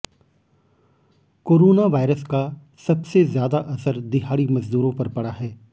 corona virus का सबसे ज्यादा असर दिहाड़ी मजदूरों पर पड़ा है